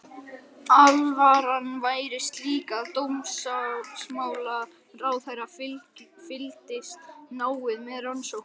Alvaran væri slík að dómsmálaráðherra fylgdist náið með rannsókninni.